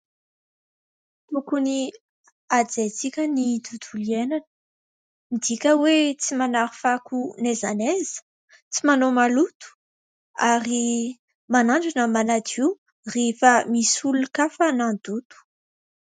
Tokony hajaintsika ny tontolo iainana, midika hoe : tsy manary fako na aiza na aiza, tsy manao maloto ary manandrana manadio rehefa misy olon-kafa nandoto.